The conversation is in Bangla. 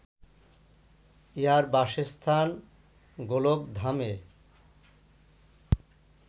ইঁহার বাসস্থান গোলকধামে